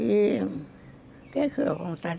E... O quê que